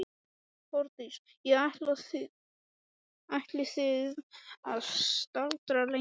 Hjördís: Og ætlið þið að staldra lengi við?